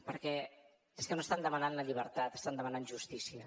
perquè és que no estan demanant la llibertat estan demanant justícia